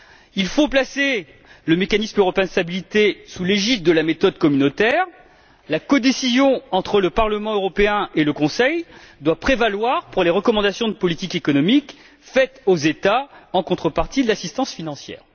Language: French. Il faut placer le mécanisme européen de stabilité sous l'égide de la méthode communautaire la codécision entre le Parlement européen et le Conseil doit prévaloir pour les recommandations de politique économique faites aux États en contrepartie de l'assistance financière.